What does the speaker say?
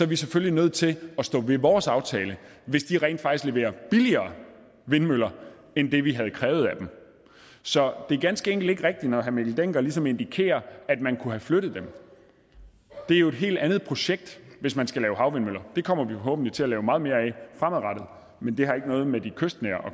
vi selvfølgelig nødt til at stå ved vores aftale hvis de rent faktisk leverer billigere vindmøller end det vi havde krævet af dem så det er ganske enkelt ikke rigtigt når herre mikkel dencker ligesom indikerer at man kunne have flyttet dem det er jo et helt andet projekt hvis man skal lave havvindmøller det kommer vi forhåbentlig til at lave meget mere af fremadrettet men det har ikke noget med de kystnære